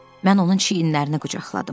Mən onun çiynlərini qucaqladım.